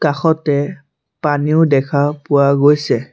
কাষতে পানীও দেখা পোৱা গৈছে।